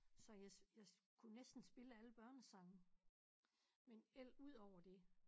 Så jeg jeg kunne næsten spille alle børnesange men el udover det